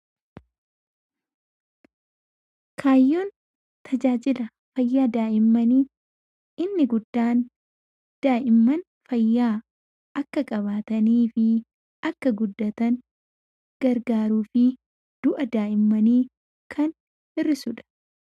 Kaayyoon tajaajila fayyaa daa'immanii inni guddaan daa'imman fayyaa akka qabaatanii fi akka guddatan gargaaruu fi du'a daa'immanii kan hir'isuudha.